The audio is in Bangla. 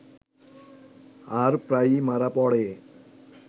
আর প্রায়ই মারা পড়ে